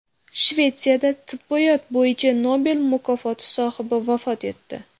Shvetsiyada tibbiyot bo‘yicha Nobel mukofoti sohibi vafot etdi.